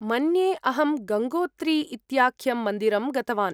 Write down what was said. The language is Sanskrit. मन्ये अहं गङ्गोत्री इत्याख्यं मन्दिरं गतवान्।